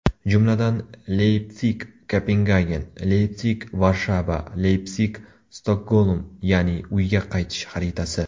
Jumladan, LeypsigKopengagen, LeypsigVarshava, Leypsig-Stokgolm, ya’ni uyga qaytish xaritasi.